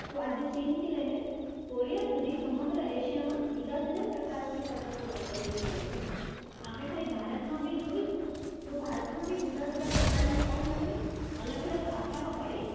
તો આજે ચીનથી લઈને કોરિયા સુધી સમગ્ર એશિયામાં જુદા જુદા પ્રકારની પતંગો પ્રચલિત થઇ છે. આપણે ખાલી ભારતમાં બી જોઈશુ તો ભારતમાં બી જુદા જુદા પ્રકારની અવનવી અલગ અલગ આકારો વાળી